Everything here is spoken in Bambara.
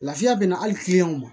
Lafiya bɛna hali ma